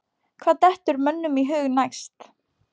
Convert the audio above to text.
Hvað dettur mönnum í hug næst?